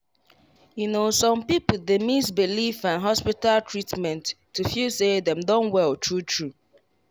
you know some people dey mix belief and hospital treatment to feel say dem don well true true.